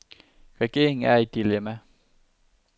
Regeringen er i et dilemma.